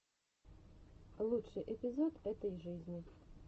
лучший эпизод этой жизни